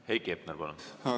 Heiki Hepner, palun!